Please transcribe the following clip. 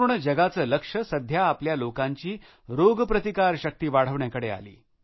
संपूर्ण जगाचे लक्ष सध्या आपल्या लोकांची रोगप्रतिकारशक्ती वाढवण्याकडे आली